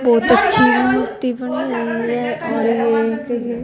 बहोत अच्छी मूर्ति बनी हुई है और ये ये--